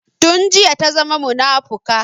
Tun jiya ta zama munafuka